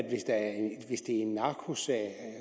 en narkosag